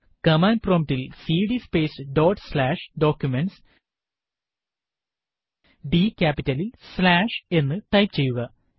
command prompt ൽ CD space dot slash Documentsഡ് ക്യാപിറ്റലിൽ സ്ലാഷ് എന്ന് ടൈപ്പ് ചെയ്യുക